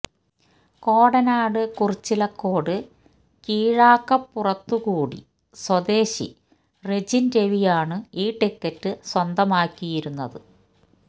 കോടനാട് കുറിച്ചിലക്കോട് കീഴക്കാപ്പുറത്തുകുടി സ്വദേശി റെജിൻ രവിയാണ് ഈ ടിക്കറ്റ് സ്വന്തമാക്കിയിരുന്നത്